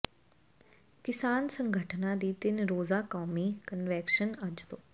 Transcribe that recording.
ਕਿਸਾਨ ਸੰਗਠਨਾਂ ਦੀ ਤਿੰਨ ਰੋਜ਼ਾ ਕੌਮੀ ਕਨਵੈਨਸ਼ਨ ਅੱਜ ਤੋਂ